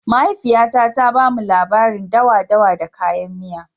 Mahaifiya na ta ba mu labarin dawa-dawa da kayan miya.